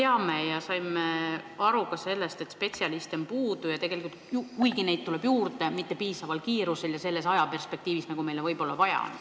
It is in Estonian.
Me teame, et spetsialiste on puudu ja kuigi neid tuleb juurde, siis mitte nii kiiresti, nagu vaja on.